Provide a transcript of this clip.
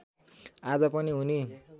आज पनि उनी